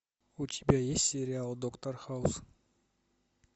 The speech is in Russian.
у тебя есть сериал доктор хаус